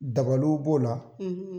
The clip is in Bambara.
Dabaliw b'o la,